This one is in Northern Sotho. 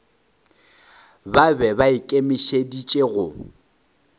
ba be ba ikemišeditše go